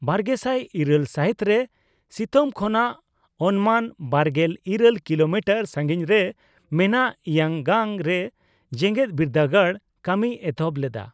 ᱵᱟᱨᱜᱮᱥᱟᱭ ᱤᱨᱟᱹᱞ ᱥᱟᱹᱦᱤᱛᱨᱮ, ᱥᱤᱝᱛᱚᱢ ᱠᱷᱚᱱᱟᱜ ᱚᱱᱢᱟᱱ ᱵᱟᱨᱜᱮᱞ ᱤᱨᱟᱹᱞ ᱠᱤᱞᱳᱢᱤᱴᱟᱨ ᱥᱟᱸᱜᱤᱧᱨᱮ ᱢᱮᱱᱟᱜ ᱤᱭᱟᱝ ᱜᱟᱝᱼᱨᱮ ᱡᱮᱜᱮᱫ ᱵᱤᱨᱫᱟᱹᱜᱟᱲ ᱠᱟᱢᱤᱭ ᱮᱛᱚᱦᱚᱵ ᱞᱮᱫᱟ ᱾